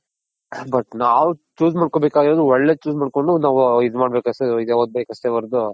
but ನಾವ್ chose ಮಾಡ್ಕೊನ್ ಬೇಕಾಗಿರೋದು ಒಳ್ಳೇದ್ chose ಮಾಡ್ಕೊಂಡ್ ನಾವು ಇದ್ ಮಾಡ್ಬೇಕ್ ಅಷ್ಟೇ ಹೊರ್ತು.